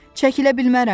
Çəkilə bilmərəm.